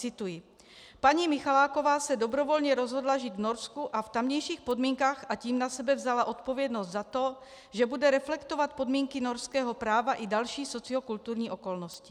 Cituji: "Paní Michaláková se dobrovolně rozhodla žít v Norsku a v tamějších podmínkách, a tím na sebe vzala odpovědnost za to, že bude reflektovat podmínky norského práva i další sociokulturní okolnosti."